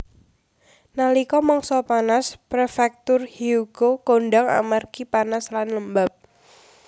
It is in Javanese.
Nalika mangsa panas prefektur Hyogo kondhang amargi panas lan lembab